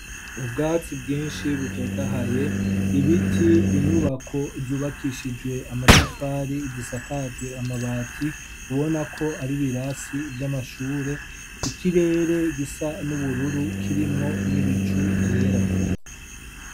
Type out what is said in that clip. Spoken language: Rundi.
Ubwatsi bwinshi butotahaye, ibiti, inyubako zubakishijwe amatafari zisakajwe amabati ubona ko ari ibirasi vy'amashure, ikirere gisa n'ubururu kirimwo n'ibicu vyera.